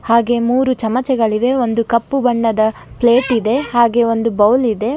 ಹಾಗೆ ಮೂರು ಚಮಚಗಳಿವೆ ಒಂದು ಕಪ್ಪು ಬಣ್ಣದ ಪ್ಲೇಟ್ ಇದೆ ಹಾಗೆ ಒಂದು ಬೌಲ್ ಇದೆ.